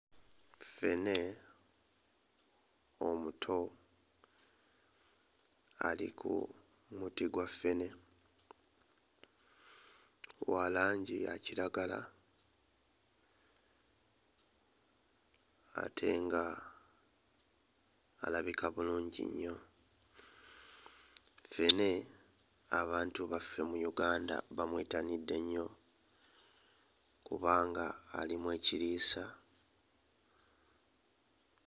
Ffene omuto ali ku muti gwa ffene, wa langi ya kiragala ate nga alabika bulungi nnyo. Ffene abantu baffe mu Uganda bamwettanidde nnyo kubanga alimu ekiriisa.